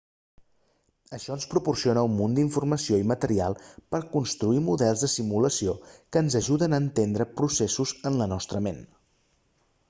això ens proporciona un munt d'informació i material per a construir models de simulació que ens ajuden a entendre processos en la nostra ment